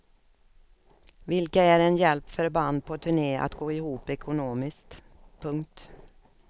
Vilka är en hjälp för band på turné att gå ihop ekonomiskt. punkt